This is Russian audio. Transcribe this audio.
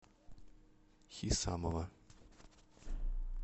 хисамова